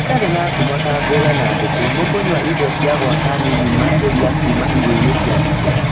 itarĩ na ngumo ta ngũrwe na ngũkũ nĩkũnyua indo cia gwaka nini makĩria Kuma irio-inĩ ciacio